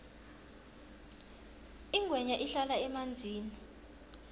ingwenya ihlala emanzini